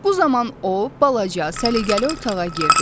Bu zaman o, balaca, səliqəli otağa girdi.